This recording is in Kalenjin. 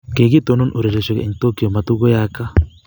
kikitonon ureriosiek eng' Tokyo, matukuyaaka.